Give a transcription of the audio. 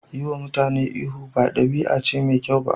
Yiwa mutane ihu ba ɗabi'a ce mai kyau ba.